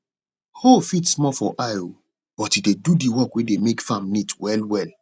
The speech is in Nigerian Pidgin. hoe fit small for eye o but e dey do d work wey dey make farm neat well well